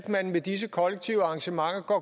man med disse kollektive arrangementer